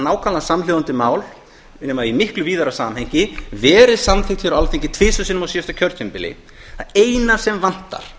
nákvæmlega samhljóða mál nema í miklu víðara samhengi verið samþykkt hér á alþingi tvisvar sinnum á síðasta kjörtímabili það eina sem vantar